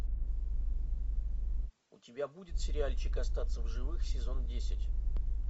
у тебя будет сериальчик остаться в живых сезон десять